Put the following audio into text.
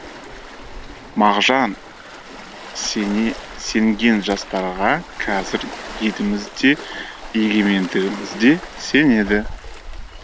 мағжан сенген жастарға қазір еліміз де егемендігіміз де сенеді